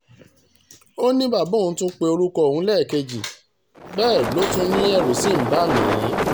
ó ní bàbá tún pe orúkọ òun lékèèjì bẹ́ẹ̀ ló tún ní ẹ̀rù ṣì ń bà mí